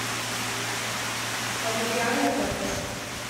аудиале запись